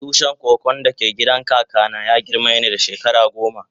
Tushin koko da ke gidan kaka na ya girme ni da shekara goma.